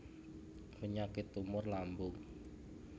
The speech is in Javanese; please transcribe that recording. Penyakit tumor lambung